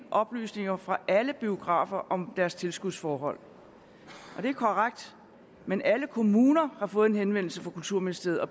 oplysninger fra alle biografer om deres tilskudsforhold det er korrekt men alle kommuner har fået en henvendelse fra kulturministeriet og